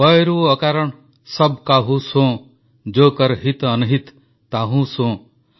ବୟରୁ ଅକାରଣ ସବ୍ କାହୁ ସୋଁ ଯୋ କର ହିତ ଅନହିତ ତାହୁ ସୋଁ